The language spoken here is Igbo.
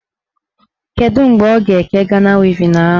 Kedụ mgbe ọ ga-eke Gana wevin ahụ?